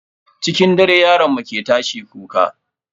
Cikin dare yaron mu ke tashi kuka.